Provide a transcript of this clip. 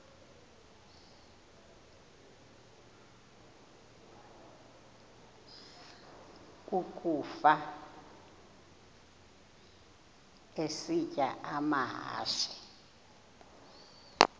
ukafa isitya amahashe